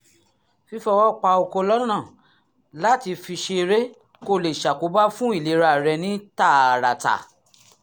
fífọwọ́ pa okó lọ́nà láti fi ṣeré kò lè ṣàkóbá fún ìlera rẹ ní tààràtà